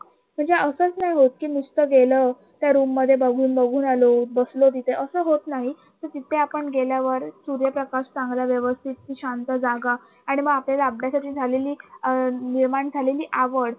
म्हणजे असच नाही होत कि नुसत गेलं त्या Room मध्ये बघून, बघून आलो बसलो तिथे असं होत नाही. कि तिथे आपण गेल्यावर सूर्यप्रकाश चांगला व्यवस्थित ती शांत जागा आणि मग आपल्याला अभ्यासाची झालेली अं निर्माण झालेली आवड